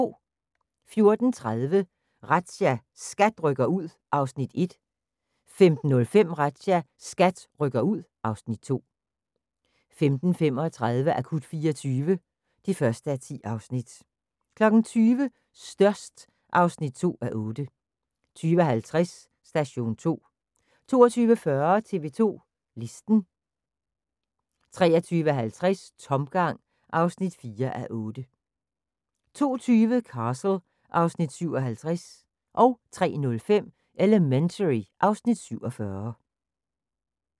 14:30: Razzia – SKAT rykker ud (Afs. 1) 15:05: Razzia – SKAT rykker ud (Afs. 2) 15:35: Akut 24 (1:10) 20:00: Størst (2:8) 20:50: Station 2 22:40: TV 2 Listen 23:50: Tomgang (4:8) 02:20: Castle (Afs. 57) 03:05: Elementary (Afs. 47)